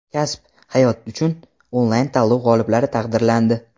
"Kasb - hayot uchun" onlayn tanlovi g‘oliblari taqdirlandi.